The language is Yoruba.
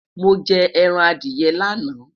mọ jẹ ẹran Adiye laana